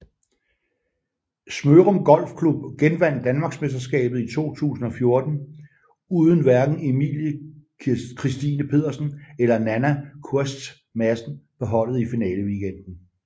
Smørum Golfklub genvandt Danmarksmesterskabet i 2014 uden hverken Emily Kristine Pedersen eller Nanna Koerstz Madsen på holdet i finaleweekenden